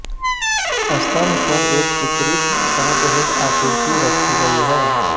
स्तंभ पर एक चित्रित साँपहूड आकृति रखी गई है